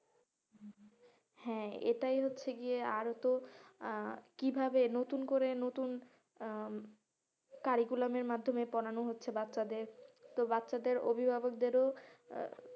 হ্যাঁ এটাই হচ্ছে গিয়ে আরো তো আহ কিভাবে নতুন করে নতুন আহ curriculum এর মাধ্যমে পোড়ানো হচ্ছে বাচ্চাদের তো বাচ্চাদের অভিভাবকদেরও,